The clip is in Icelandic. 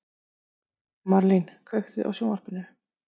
Marlín, kveiktu á sjónvarpinu.